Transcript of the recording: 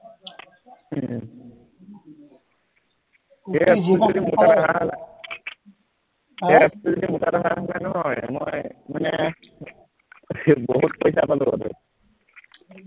উম সেই app টো যদি মোৰ কাৰণে হোৱা হলে আহ সেই app টো যদি মোৰ কাৰণে হোৱা হলে নহয় মই মানে বহুত পইচা পালোহেতেন